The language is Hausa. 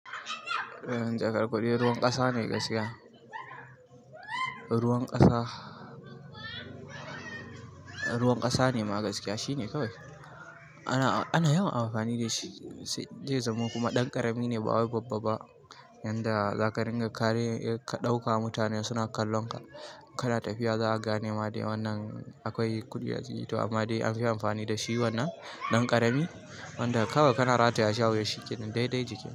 Jakar kuɗi ruwan kasa ne gaskiya, ruwan kasa, ruwan kasa ne ma gaskiya shine kawai. Ana, ana yawan amfani da shi zai zamo kuma ɗan ƙarami ne ba wai babba ba yanda zaka ringa kare in kaɗauka mutane suna kallon ka, kana tafiya za'a gane ma dai wannan akwai kuɗi a jiki to amma dai anfi amfani da shi wannan ɗan ƙarami wanda kawai kana ratayashi a wuya shikenan dai dai jiki.